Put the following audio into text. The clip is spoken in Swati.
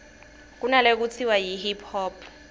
kunalekutsiwa yi hip hop